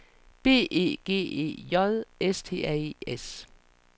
B E G E J S T R E S